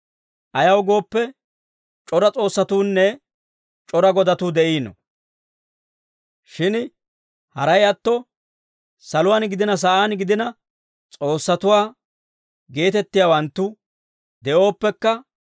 Ayaw gooppe, c'ora s'oossatuunne c'ora godatuu de'iino. Shin haray atto, saluwaan gidina sa'aan gidina, s'oossatuwaa geetettiyaawanttu de'ooppekka,